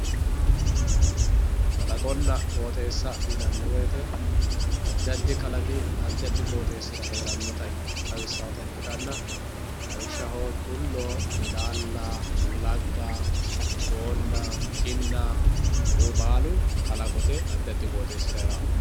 Qooxesa yinani woyite adi adi dani qooxesaho heerate xawisawota ikitana lawoshshaho tullo ilala lagga boona kinna kuriuu baalu kalaqote adi adi qoxesira herawo yaate